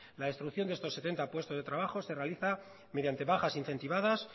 la destrucción de estos setenta puestos de trabajo se realiza mediante bajas incentivadas